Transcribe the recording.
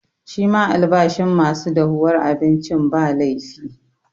Shi ma albashin ma su dahuwar abincin, ba laifi.